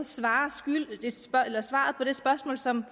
svar skyldig på det spørgsmål som